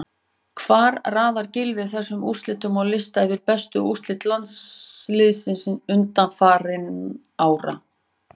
Hvar raðar Gylfi þessum úrslitum á lista yfir bestu úrslit landsliðsins undanfarin ár?